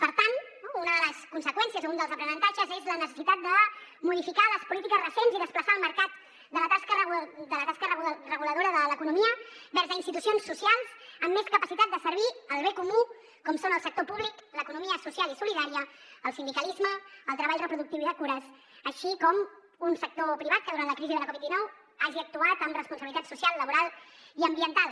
per tant una de les conseqüències o un dels aprenentatges és la necessitat de modificar les polítiques recents i desplaçar el mercat de la tasca reguladora de l’economia vers a institucions socials amb més capacitat de servir al bé comú com són el sector públic l’economia social i solidària el sindicalisme el treball reproductiu i de cures així com un sector privat que durant la crisi de la covid dinou hagi actuat amb responsabilitat social laboral i ambiental